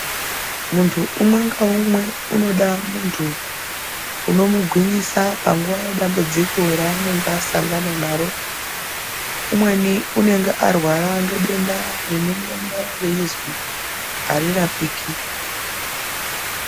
Muntu umwe naumwe unoda muntu unomugwinyisa padambudzuko raunenge asangana naye unenge arwara nendenda reizwi arirapiki.